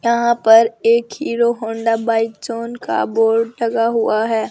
यहां पर एक हीरो होंडा बाइक जॉन का बोर्ड लगा हुआ है।